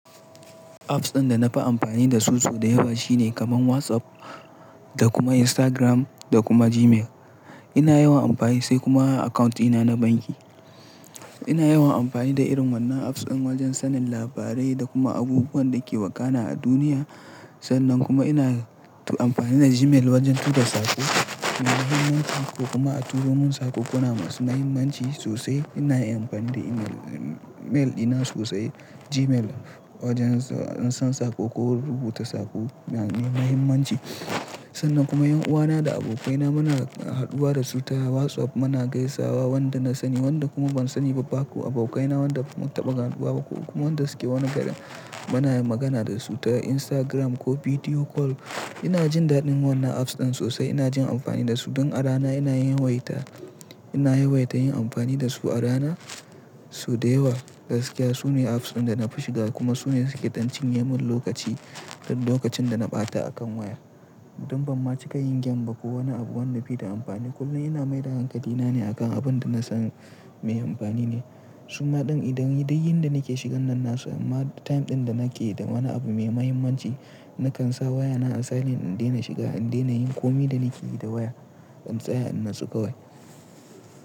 Apps ɗin da na fi amfani da su sau da yawa shine kamar WhatsApp da kuma Instagram da kuma Gmail. Ina yawan amfani sai kuma account ina na banki. Ina yawan amfani da irin wannan apps ɗin wajen sanin labarai da kuma abubuwan da ke wakana a duniya. Sannan kuma ina amfani da Gmail wajen tura saƙo mai muhimmanci ko kuma a turo mun saƙo. Kuna masu muhimmanci sosai ina yin amfani da email, mail ina sosai Gmail wajen in san saƙo ko rubuta saƙo na da muhimmanci. Sannan kuma 'yan uwana da abokaina muna haduwa da su ta WhatsApp, muna gaisawa wanda na sani wanda kuma ban sani ba ba ko abokaina wanda mun taɓa ganuwa ba ko kuma wanda suke wani garin muna magana da su ta Instagram ko video call. Ina jin daɗin wannan apps ɗin sosai, ina jin amfani da su. Don a rana ina yawaita, ina yawaita yin amfani da su a rana sau da yawa. Gaskiya su ne apps ɗin da na fi shiga kuma su ne suke dan cinyemun lokaci duk lokacin da na ɓata akan waya. Don ban ma cika yin game ba ko wani abu wanda baida amfani. Kuma ina mai da hankali na ne akan abin da na san mai amfani ne. Suma ɗin idan dai yin da nake shigan nan na samu ma time ɗin da nake da wani abu mai mahimmanci, na kan sa wayana a silent in daina shiga, in daina yin komi da nake yi da waya. In tsaya in natsu kawai.